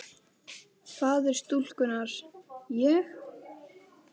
Faðir stúlkunnar: Ég?